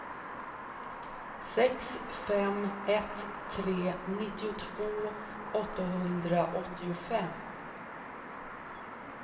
sex fem ett tre nittiotvå åttahundraåttiofem